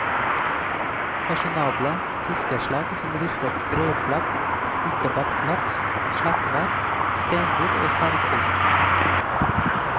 Fasjonable fiskeslag som ristet breiflabb, urtebakt laks, slettvar, steinbit og sverdfisk.